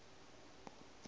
a re go realo a